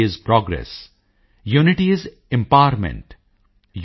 unity is progress unity is empowerment